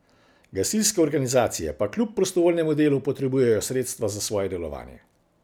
Gasilske organizacije pa kljub prostovoljnemu delu potrebujejo sredstva za svoje delovanje.